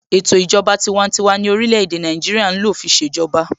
Ètò ìjọba tiwantiwa ni orílẹ̀-èdè Nàìjíríà ń lò fi ṣèjọba.